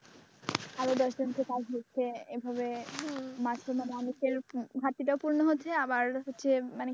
আরো দশজনকে কাজ দিচ্ছে এইভাবে মাঝখানে মানুষের ঘাটতিটাও পূরণ হচ্ছে আবার হচ্ছে মানে কি